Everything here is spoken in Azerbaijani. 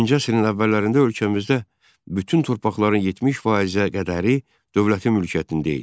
20-ci əsrin əvvəllərində ölkəmizdə bütün torpaqların 70%-ə qədəri dövlətin mülkiyyətində idi.